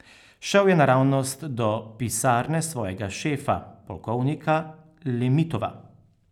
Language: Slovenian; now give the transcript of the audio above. Šel je naravnost do pisarne svojega šefa, polkovnika Lemitova.